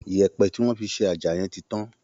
Yẹ̀ẹ̀̀pẹ̀ tí wọ́n fi ṣe àjà yẹn ti tán